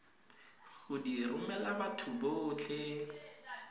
go di romela batho botlhe